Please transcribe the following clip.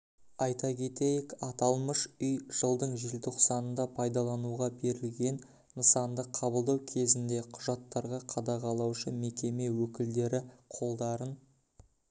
айта кетейік аталмыш үй жылдың желтоқсанында пайдалануға берілген нысанды қабылдау кезінде құжаттарға қадағалаушы мекеме өкілдері қолдарын